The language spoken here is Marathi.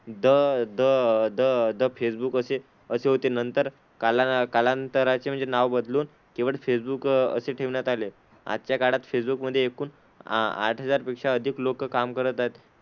The the the the Facebook असे असे होते, नंतर कालां कालांतराचे म्हणजे नाव बदलून केवळ फेसबूक असे ठेवण्यात आले. आजच्या काळात फेसबुक मध्ये एकूण आ आठ हजार पेक्षा अधिक लोकं काम करत आहेत.